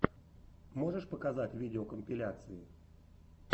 можешь показать видеокомпиляции